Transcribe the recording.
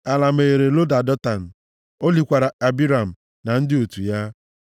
Ala meghere loda Datan, o likwara Abiram, na ndị otù ya.